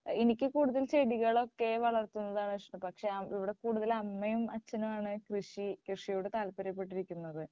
എനിക്ക് കൂടുതൽ ചെടികളൊക്കെ വളർത്തുന്നതാണ് ഇഷ്ടം പക്ഷേ ഇവിടെ കൂടുതൽ അമ്മയും അച്ഛനുമാണ് കൃഷി കൃഷിയോട് താല്പര്യപെട്ടിരിക്കുന്നത്.